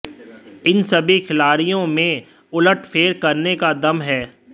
इन सभी खिलाड़ियों में उलटफेर करने का दम है